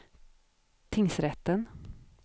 tingsrätten